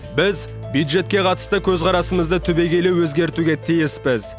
біз бюджетке қатысты көзқарасымызды түбегейлі өзгертуге тиіспіз